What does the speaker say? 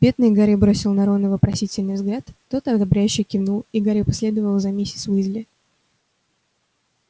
бедный гарри бросил на рона вопросительный взгляд тот ободряюще кивнул и гарри последовал за миссис уизли